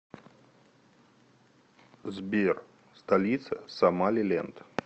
сбер столица сомалиленд